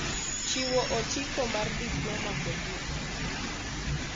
Chiwo otiko mar Diploma kod Digri